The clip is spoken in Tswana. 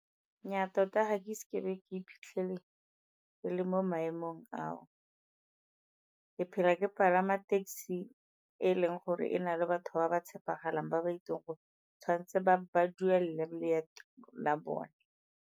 Nnyaa tota ga ke ise ke be ke iphitlhele ke le mo maemong ao, ke phela ke palama taxi e e leng gore e na le batho ba ba tshepegalang ba ba itseng gore tshwanetse ba duele leeto la bone.